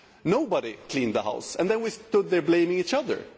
Nobody cleaned the house and then we stood there blaming each other.